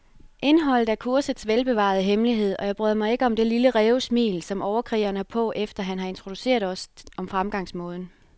Indholdet er kursets velbevarede hemmelighed, og jeg bryder mig ikke om det lille rævesmil, som overkrigeren har på, efter han har introduceret os om fremgangsmåden.